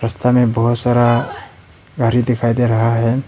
रस्ता में बहुत सारा गाड़ी दिखाई दे रहा है।